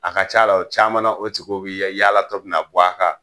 A ka ca la, o caman na o tigiw bi ya yaala tɔ bɛ na b'a kan.